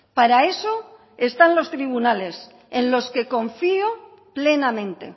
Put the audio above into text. para eso están los tribunales en los que confío plenamente